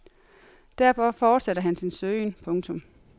Derfor fortsætter han sin søgen. punktum